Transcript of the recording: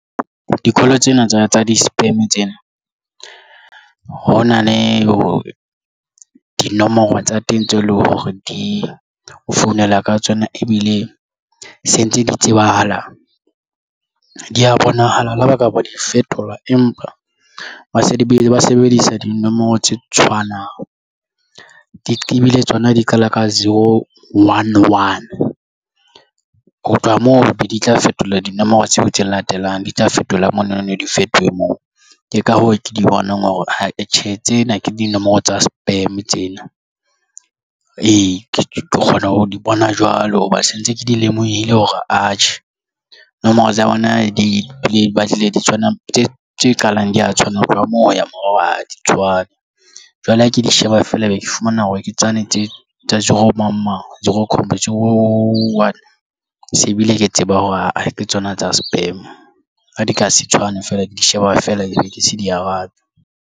Di-call tsena tsa di-spam tsena ho na le dinomoro tsa teng tse leng hore di o founela ka tsona ebile se ntse di tsebahala di ya bonahala le ha ba ka ba di fetola empa ba se ba sebedisa dinomoro tse tshwanang di ebile tsona di qala ka seo one one ho tloha moo be di tla fetola dinomoro tseo tse latelang di tla fetola monahano di fetohe moo ke ka hoo ke di bonang hore ha e tjhe tsena ke dinomoro tsa spam tsena ee, ke tlo kgona ho di bona jwalo hoba se ntse ke di lemohile hore atjhe nomoro tsa bona di batlile di tshwana tse tse qalang di ya tshwana ho tloha moo ho ya morao ha di tshwane jwale ha ke di sheba feela ebe ke fumana hore ke tsane tse tsa zero mamang di re zero one se bile ke tseba hore aa ke tsona tsa spam ha di ka se tshwane feela ke di sheba feela di beke se di arabe.